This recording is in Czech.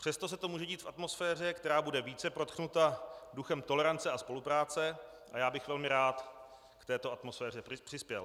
Přesto se to může dít v atmosféře, která bude více prodchnuta duchem tolerance a spolupráce, a já bych velmi rád k této atmosféře přispěl.